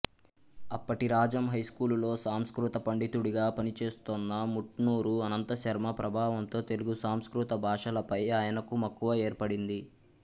అప్పటి రాజాం హైస్కూలులో సంస్కృత పండితుడిగా పనిచేస్తోన్న ముట్నూరు అనంతశర్మ ప్రభావంతో తెలుగు సంస్కృత భాషలపై ఆయనకు మక్కువ ఏర్పడింది